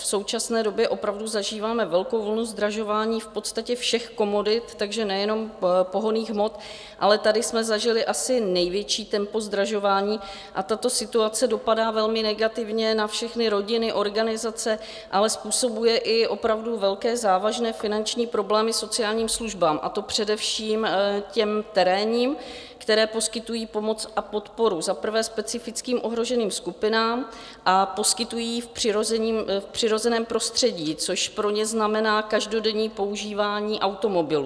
V současné době opravdu zažíváme velkou vlnu zdražování v podstatě všech komodit, takže nejenom pohonných hmot, ale tady jsme zažili asi největší tempo zdražování a tato situace dopadá velmi negativně na všechny rodiny, organizace, ale způsobuje i opravdu velké závažné finanční problémy sociálním službám, a to především těm terénním, které poskytují pomoc a podporu, za prvé specifickým ohroženým skupinám, a poskytují ji v přirozeném prostředí, což pro ně znamená každodenní používání automobilů.